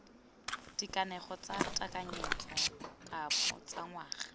dikanego tsa tekanyetsokabo tsa ngwaga